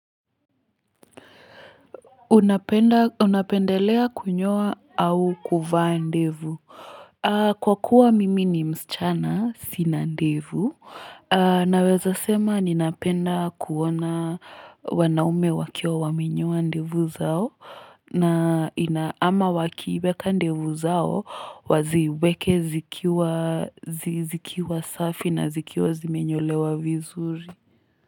Unapendelea kunyoa au kuvaa ndevu? Kwa kuwa mimi ni msichana sina ndevu, naweza sema ninapenda kuona wanaume wakio wamenyoa ndevu zao na inaama wakiweka ndevu zao waziweke zikiwa safi na zikiwa zimenyolewa vizuri.